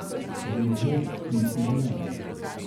Poved B ni izjava.